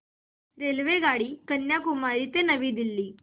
रेल्वेगाडी कन्याकुमारी ते नवी दिल्ली